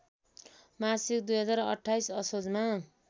मासिक २०२८ असोजमा